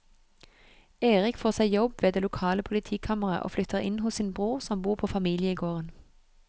Erik får seg jobb ved det lokale politikammeret og flytter inn hos sin bror som bor på familiegården.